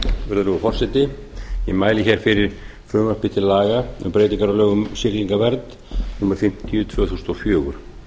virðulegur forseti ég mæli fyrir frumvarpi til laga um breytingar á lögum um siglingavernd númer fimmtíu tvö þúsund og fjögur